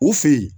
U fe yen